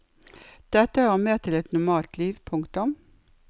Dette hører med til et normalt liv. punktum